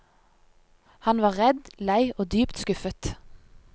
Han var redd, lei og dypt skuffet.